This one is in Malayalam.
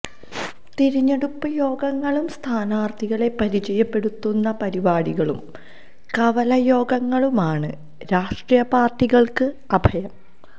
തിരഞ്ഞെടുപ്പ് യോഗങ്ങളും സ്ഥാനാര്ഥികളെ പരിചയപ്പെടുത്തുന്ന പരിപാടികളും കവലയോഗങ്ങളുമാണ് രാഷ്ട്രീയപാര്ട്ടികള്ക്ക് അഭയം